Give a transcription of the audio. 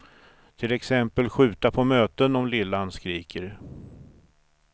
Till exempel skjuta på möten om lillan skriker.